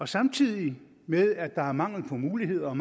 samtidig med at der er mangel på muligheder